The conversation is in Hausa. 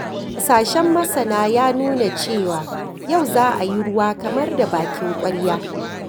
Hasashen masana ya nuna cewa, yau za ayi ruwa kamar da bakin ƙwarya